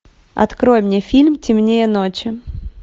открой мне фильм темнее ночи